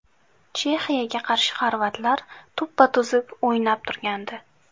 Chexiyaga qarshi xorvatlar tuppa-tuzuk o‘ynab turgandi.